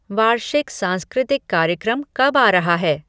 वार्षिक सांस्कृतिक कार्यक्रम कब आ रहा है